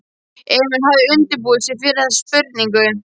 Emil hafði undirbúið sig fyrir þessa spurningu.